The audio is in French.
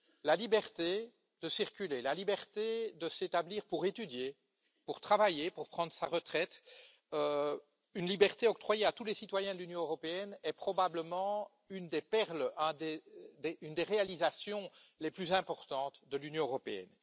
La liberté de circuler, la liberté de s'établir pour étudier, pour travailler, pour prendre sa retraite, une liberté octroyée à tous les citoyens de l'Union européenne, est probablement l'une des perles, l'une des réalisations les plus importantes de l'Union européenne.